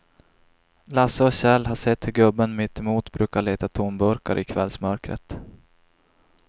Lasse och Kjell har sett hur gubben mittemot brukar leta tomburkar i kvällsmörkret.